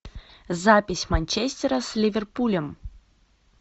запись манчестера с ливерпулем